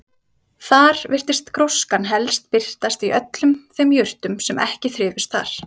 Þar virtist gróskan helst birtast í öllum þeim jurtum sem ekki þrifust þar.